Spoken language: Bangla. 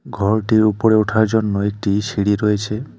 ঘরটির ওপরে ওঠার জন্য একটি সিঁড়ি রয়েছে।